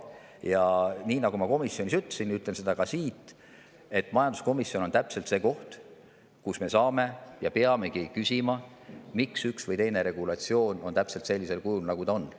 Ja nii nagu ma komisjonis ütlesin, ütlen ka siin, et majanduskomisjon on täpselt see koht, kus me saame küsida ja peamegi küsima, miks üks või teine regulatsioon on tehtud täpselt sellisel kujul, nagu ta on.